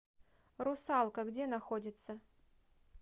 русалка где находится